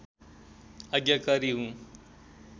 आज्ञाकारी हुँ